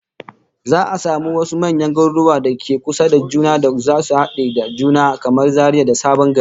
Za'a samu wasu manyan garuruwan da ke kusa da juna da zasu hade da juna, kamar Zaria da Sabon Gari